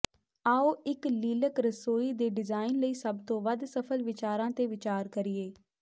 ਆਉ ਇੱਕ ਲੀਲਕ ਰਸੋਈ ਦੇ ਡਿਜ਼ਾਇਨ ਲਈ ਸਭ ਤੋਂ ਵੱਧ ਸਫਲ ਵਿਚਾਰਾਂ ਤੇ ਵਿਚਾਰ ਕਰੀਏ